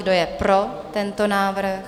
Kdo je pro tento návrh?